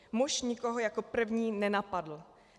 Muž nikoho jako první nenapadl.